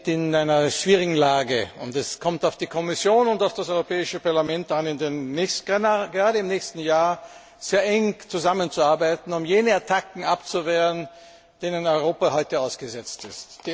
Wir sind in einer schwierigen Lage, und es kommt auf die Kommission und das Europäische Parlament an, gerade im nächsten Jahr sehr eng zusammenzuarbeiten, um jene Attacken abzuwehren, denen Europa heute ausgesetzt ist.